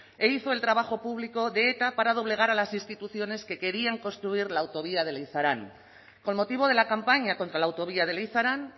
e hizo el trabajo público de eta para doblegar a las instituciones que querían construir la autovía de leizarán con motivo de la campaña contra la autovía de leizarán